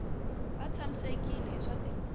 va tshamisekile hi swa timali